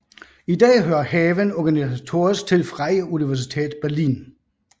I dag hører haven organisatorisk til Freie Universität Berlin